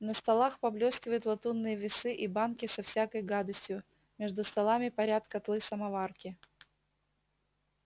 на столах поблёскивают латунные весы и банки со всякой гадостью между столами парят котлы-самоварки